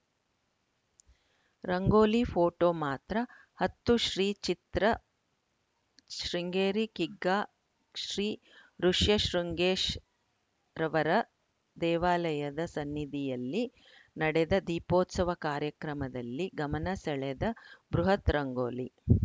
ರಂಗೋಲಿಫೋಟೋ ಮಾತ್ರ ಹತ್ತು ಶ್ರೀ ಚಿತ್ರ ಶೃಂಗೇರಿ ಕಿಗ್ಗಾ ಶ್ರೀ ಋುಷ್ಯಶೃಂಗೇಶ್ ರವರ ದೇವಾಲಯದ ಸನ್ನಿಧಿಯಲ್ಲಿ ನಡೆದ ದೀಪೋತ್ಸವ ಕಾರ್ಯಕ್ರಮದಲ್ಲಿ ಗಮನ ಸೆಳೆದ ಬೃಹತ್‌ ರಂಗೋಲಿ